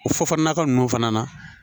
O fɔ nakɔ ninnu fana na